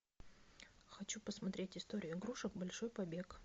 хочу посмотреть историю игрушек большой побег